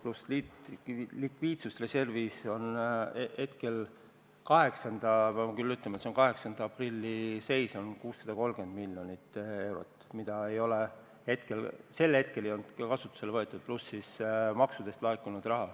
Lisaks on likviidsusreservis 630 miljonit – ma pean küll ütlema, et see on 8. aprilli seis –, mida sel hetkel ei olnud kasutusele võetud, pluss maksudest laekunud raha.